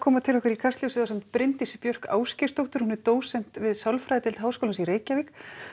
til okkar í Kastljósið ásamt Bryndísi Björk Ásgeirsdóttur dósent við sálfræðideild Háskólans í Reykjavík